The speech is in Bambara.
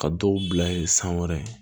Ka dɔw bila yen san wɛrɛ